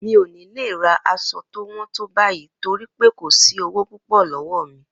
Mi ò ní lè ra aṣọ tó wọ́n tó báyìí torí pé kò sí owó púpọ̀ lọ́wọ́ mi